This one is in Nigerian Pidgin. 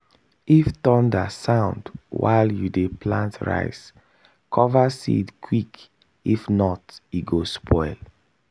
if thunder sound while you dey plant rice cover seed quick if not e go spoil.